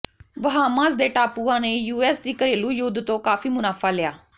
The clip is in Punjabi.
ਬਹਾਮਾਜ਼ ਦੇ ਟਾਪੂਆਂ ਨੇ ਯੂਐਸ ਦੀ ਘਰੇਲੂ ਯੁੱਧ ਤੋਂ ਕਾਫ਼ੀ ਮੁਨਾਫਾ ਲਿਆ